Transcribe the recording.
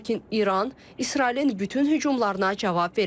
Lakin İran İsrailin bütün hücumlarına cavab verəcək.